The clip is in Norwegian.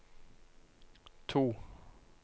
to